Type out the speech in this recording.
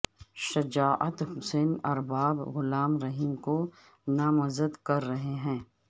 شجاعت حسین ارباب غلام رحیم کو نامزد کر رہے ہیں